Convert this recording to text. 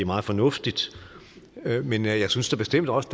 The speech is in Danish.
meget fornuftigt men jeg synes da bestemt også